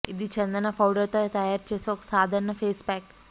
ఇది చందన పౌడర్ తో తయారు చేసే ఒక సాధరణ ఫేస్ ప్యాక్